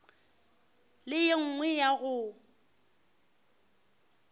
le ye nngwe ya go